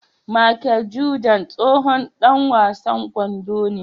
Machel Jordan tsohon Dan wasan kwando ne